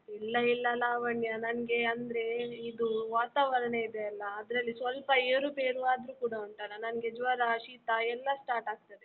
ಇಲ್ಲ ಇಲ್ಲ ಲಾವಣ್ಯ, ನನ್ಗೆ ಅಂದ್ರೆ ಇದು ವಾತಾವರಣ ಇದೆ ಅಲ ಅದರಲ್ಲಿ ಸ್ವಲ್ಪ ಏರುಪೇರು ಆದ್ರೂ ಕೂಡ ಉಂಟಲ ನನ್ಗೆ ಜ್ವರ, ಶೀತ ಎಲ್ಲ start ಆಗ್ತಾದೆ.